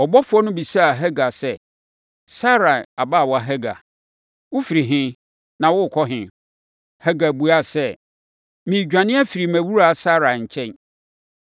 Ɔbɔfoɔ no bisaa Hagar sɛ, “Sarai abaawa Hagar, wofiri he, na worekɔ he?” Hagar buaa no sɛ, “Meredwane afiri mʼawuraa Sarai nkyɛn.”